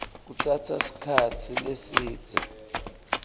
kutsatsa sikhatsi lesidze